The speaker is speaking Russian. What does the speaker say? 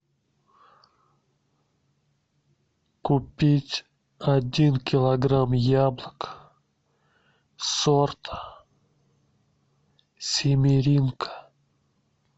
купить один килограмм яблок сорт симиренко